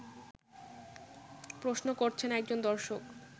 প্রশ্ন করছেন একজন দর্শক